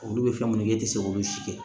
Olu bɛ fɛn minnu kɛ e tɛ se k'olu si kɛ